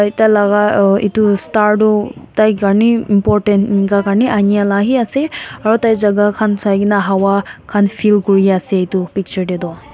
tai laga uh itu star du tai karney important inika karney ania la hee ase aru tai jaga khan sai kena hawa khan feel kuria ase itu picture tey tu.